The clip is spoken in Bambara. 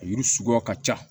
A yiri suguya ka ca